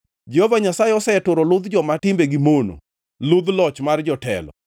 Jehova Nyasaye oseturo ludh joma timbegi mono, ludh loch mar jotelo,